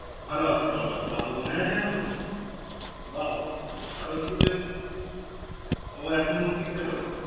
ভালো আছে ভালো আছে বাহ তোর মনে আছে এখনো! বাহ বাহ। ও এখন six এ পড়ে